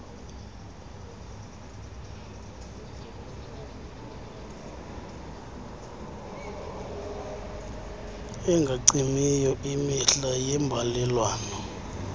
engacimiyo imihla yeembalelwano